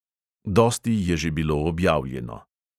Dosti je že bilo objavljeno.